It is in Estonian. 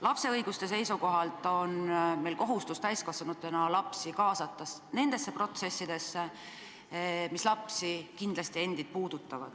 Lapse õiguste seisukohalt on meil täiskasvanutena kohustus kaasata lapsi nendesse protsessidesse, mis neid kindlasti puudutavad.